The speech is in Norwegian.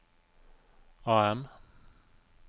AM